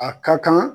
A ka kan